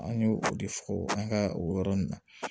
An ye o de fɔ an ka o yɔrɔ ninnu na